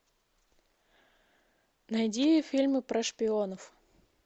найди фильмы про шпионов